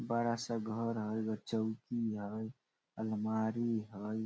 बड़ा-सा घर हेय चौकी हेय अलमारी हेय।